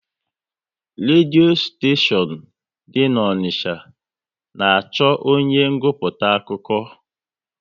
Redio steshion dị n'Onicha na achọ onye nguputa akụkọ